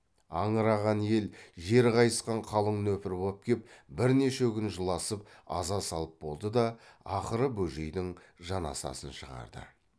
аңыраған ел жер қайысқан қалың нөпір боп кеп бірнеше күн жыласып аза салып болды да ақыры бөжейдің жаназасын шығарды